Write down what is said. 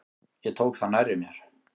Ég tók það nærri mér.